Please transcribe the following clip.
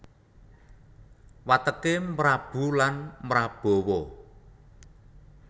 Wateké mrabu lan mrabawa